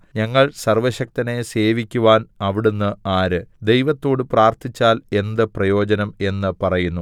ഞങ്ങൾ സർവ്വശക്തനെ സേവിക്കുവാൻ അവിടുന്ന് ആര് ദൈവത്തോട് പ്രാർത്ഥിച്ചാൽ എന്ത് പ്രയോജനം എന്നു പറയുന്നു